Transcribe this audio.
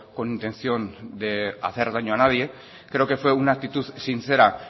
con intención de hacer daño a nadie creo que fue una actitud sincera